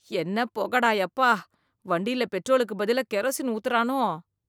என்ன புகை டா யப்பா! வண்டியில பெட்ரோலுக்கு பதிலா கிரோசின் ஊத்துரானோ!